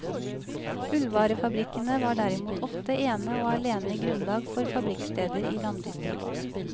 Ullvarefabrikkene var derimot ofte ene og alene grunnlag for fabrikksteder i landdistrikt.